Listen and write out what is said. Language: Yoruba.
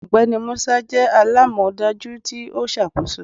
Ọgbẹni Musa jẹ alamọdaju ti o ṣakoso